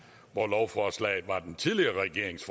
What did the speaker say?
hvor lovforslaget var den tidligere regerings